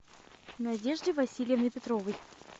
надеждой васильевной петровой